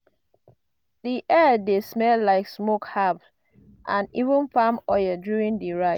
di air dey smell like smoke herbs and even palm oil during di rite.